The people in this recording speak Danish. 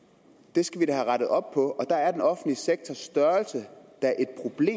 det skal vi da have rettet op på og der er den offentlige sektors størrelse